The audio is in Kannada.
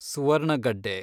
ಸುವರ್ಣಗಡ್ಡೆ